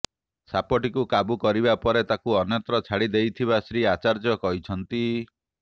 ସାପଟିକୁ କାବୁ କରିବା ପରେ ତାକୁ ଅନ୍ୟତ୍ର ଛାଡ଼ି ଦେଇଥିବା ଶ୍ରୀ ଆଚାର୍ଯ୍ୟ କହିଛନ୍ତି